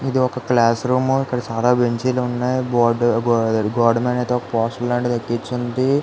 ఇది ఒక class room . ఇక్కడ చాలా బెంచీలు ఉన్నాయ్. గోడ మీద అయితే ఒక పోస్టర్ లాంటిది అతికించి ఉంది.